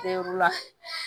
Teri